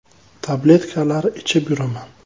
Tabletkalar ichib yuraman.